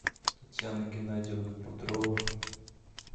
татьяна геннадьевна петрова